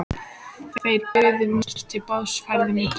Þeir buðu mér til borðs og færðu mér drykk.